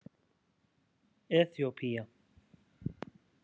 Eþíópía